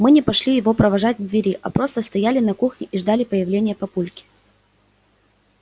мы не пошли его провожать к двери а просто стояли на кухне и ждали появления папульки